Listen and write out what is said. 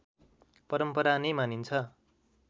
परम्परा नै मानिन्छ